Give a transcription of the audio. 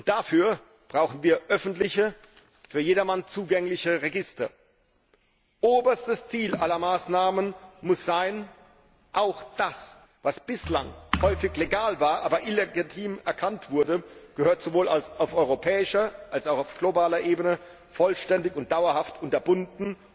Dafür brauchen wir öffentliche, für jedermann zugängliche Register. Oberstes Ziel aller Maßnahmen muss sein Auch das, was bislang häufig legal war, aber als illegitim erkannt wurde, gehört sowohl auf europäischer als auch auf globaler Ebene vollständig und dauerhaft unterbunden.